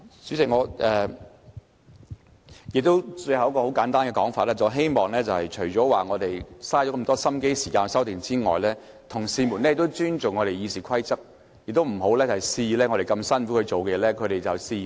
主席，最後我想簡單說一點，我們花了很多心機和時間提出修訂，同事應尊重《議事規則》，不要肆意破壞我們辛苦做出來的成果。